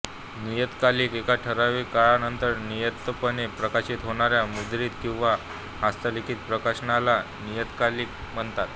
नियतकालिक एका ठरावीक काळानंतर नियमितपणे प्रकाशित होणाऱ्या मुद्रित किंवा हस्तलिखित प्रकाशनाला नियतकालिक म्हणतात